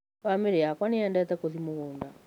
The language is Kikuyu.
Bamĩri yakwa nĩyendete gũthiĩ mũgunda